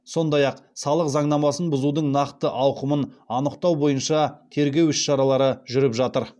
сондай ақ салық заңнамасын бұзудың нақты ауқымын анықтау бойынша тергеу іс шаралары жүріп жатыр